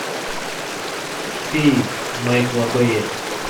феи майкла бэя